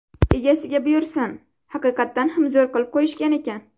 Egasiga buyursin, haqiqatdan ham zo‘r qilib qo‘yishgan ekan.